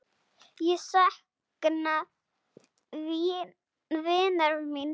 Ég sakna vinar míns.